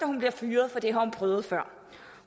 hun bliver fyret for det har hun prøvet før